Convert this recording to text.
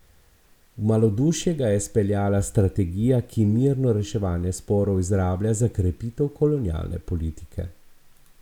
V malodušje ga je speljala strategija, ki mirno reševanje sporov izrablja za krepitev kolonialne politike.